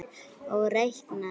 Og reiknið svo.